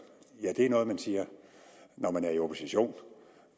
ja det er noget man siger når man er i opposition